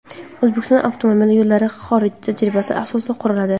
O‘zbekistonda avtomobil yo‘llari xorij tajribasi asosida quriladi.